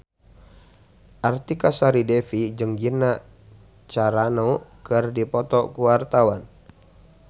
Artika Sari Devi jeung Gina Carano keur dipoto ku wartawan